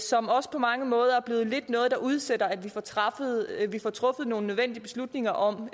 som også på mange måder er blevet noget der udsætter at vi får truffet nogle nødvendige beslutninger om